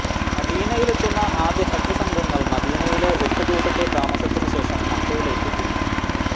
മദീനയിലെത്തുന്ന ആദ്യ ഹജ് സംഘങ്ങൾ മദീനയിലെ എട്ട് ദിവസത്തെ താമസത്തിന് ശേഷം മക്കയിലേക്ക് തിരിക്കും